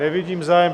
Nevidím zájem.